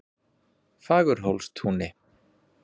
Fagurhólstúni